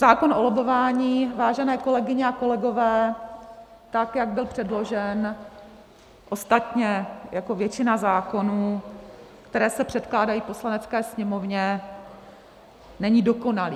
Zákon o lobbování, vážené kolegyně a kolegové, tak jak byl předložen, ostatně jako většina zákonů, které se předkládají Poslanecké sněmovně, není dokonalý.